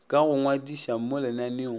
ka go ngwadiša mo lenaneong